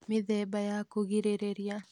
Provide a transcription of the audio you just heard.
Mĩthemba ya kũgirĩrĩria